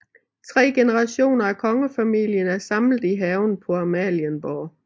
Tre generationer af Kongefamilien er samlet i haven på Amalienborg